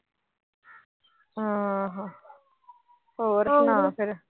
ਹੋਰ ਸੁਣਾ ਫਿਰ।